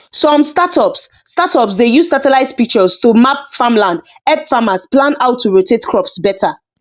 some startups startups dey use satellite pictures to map farmland help farmers plan how to rotate crops better